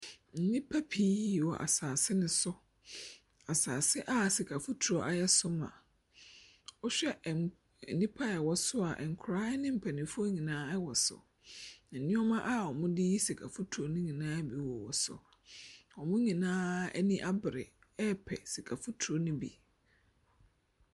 Nnipa pii wɔ asaase no so. Asaase a sika foturo ayɛ so ma. Wɔhwɛ a enipa ɛwɔ soa nkwadaa ne mpanyinfoɔ nyinaa ɛwɔ so. Ɛnneɛma a ɔdeyi sika fotoro no nyinaa bi wɔ so. Wɔn nyinaa aniabrɛ ɛɛpɛ sika fotoro no bi.